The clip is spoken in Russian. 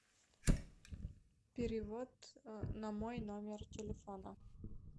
перевод на мой номер телефона